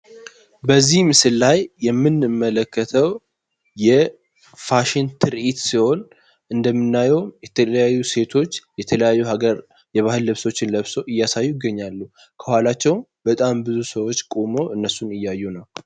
በዚህ ምስል ላይ የምንመለከተው የፋሽን ትርዒት ሲሆን፤ እንደሚናየው የተለያዩ ሴቶች የተለያዩ ሀገር የባህል ልብሶችን ለብሶ እያሳዩ ይገኛሉ። ከኋላቸው በጣም ብዙ ሰዎች ቆሞ እነሱን እያዩ ነው።